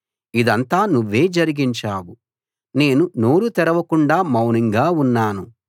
ఇదంతా నువ్వే జరిగించావు నేను నోరు తెరవకుండా మౌనంగా ఉన్నాను